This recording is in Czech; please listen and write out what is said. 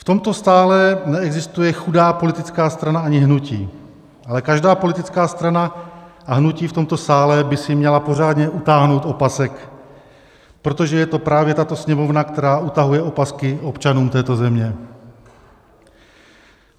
V tomto sále neexistuje chudá politická strana ani hnutí, ale každá politická strana a hnutí v tomto sále by si měla pořádně utáhnout opasek, protože je to právě tato Sněmovna, která utahuje opasky občanům této země.